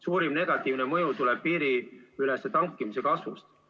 Suurim negatiivne mõju tuleb piiriülese tankimise kasvust.